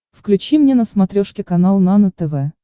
включи мне на смотрешке канал нано тв